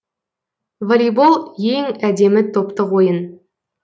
волейбол ең әдемі топтық ойын